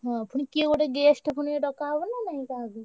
ହଁ ପୁଣି କିଏ ଗୋଟେ guest ପୁଣି ଡକା ହବ ନା ନାଇଁ କାହାକୁ?